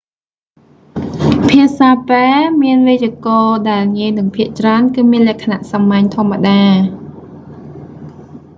ភាសាពែរ្សមានវេយ្យាករណ៍ដែលងាយនិងភាគច្រើនគឺមានលក្ខណៈសាមញ្ញធម្មតា